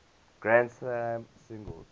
grand slam singles